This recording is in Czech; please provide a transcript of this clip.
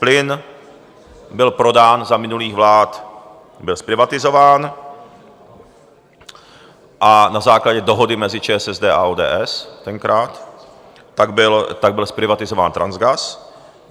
Plyn byl prodán za minulých vlád, byl zprivatizován a na základě dohody mezi ČSSD a ODS tenkrát tak byl zprivatizován Transgas.